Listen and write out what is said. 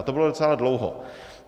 A to bylo docela dlouho.